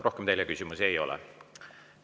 Rohkem teile küsimusi ei ole.